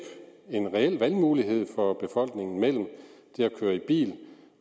en reel valgmulighed for befolkningen mellem det at køre i bil